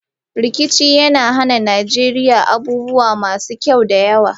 Rikici ya hana Najeriya wasu abubuwa masu kyau da yawa.